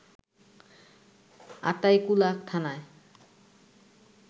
আতাইকুলা থানায়